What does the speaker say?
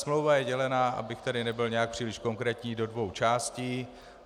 Smlouva je dělena, abych tady nebyl nějak příliš konkrétní, do dvou částí.